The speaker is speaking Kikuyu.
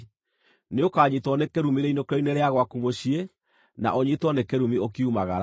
Nĩũkanyiitwo nĩ kĩrumi rĩinũkĩro-inĩ rĩa gwaku mũciĩ, na ũnyiitwo nĩ kĩrumi ũkiumagara.